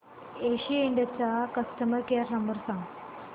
केसी इंड चा customer care number सांग